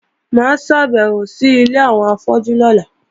Mà á ṣàbẹ̀wò sí ilé àwọn afọ́jú lọ́la